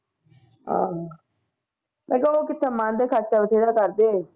ਹਾਂ ਮੈਂ ਕਿਹਾ ਉਹ ਕਿੱਥੇ ਮੰਨਦੇ ਖ਼ਰਚਾ ਬਥੇਰਾ ਕਰਦੇ।